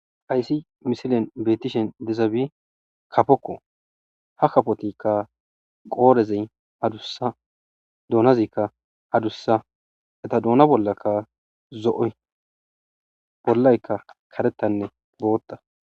Haysi misilen beetishen dizabi kapokko ha kafotikka qoorezey adussa doonazikka adussa eta doona bollaka zo7oy bollaykka karettanne bootta